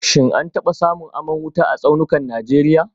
Shin an taba samun aman wuta a tsaunukan Najeriya